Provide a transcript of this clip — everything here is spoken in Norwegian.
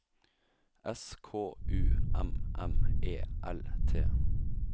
S K U M M E L T